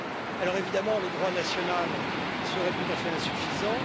Alors évidemment, le droit national serait tout à fait insuffisant.